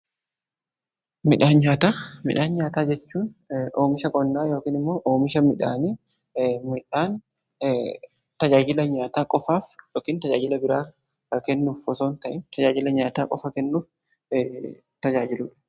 Midhaan nyaataa jechuun oomisha qonnaa yookiin immoo tajaajila nyaataa qofaaf yookiin tajaajila biraa kennuuf osoon ta'in tajaajila nyaataa qofa kennuuf tajaajiluudha.